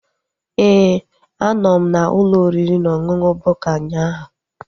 Éè, a nọ m n'ụlọ oriri na ọṅụṅụ Bukka ụnyaahụ